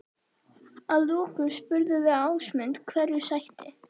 Að lokum spurðum við Ásmund hverju sætti?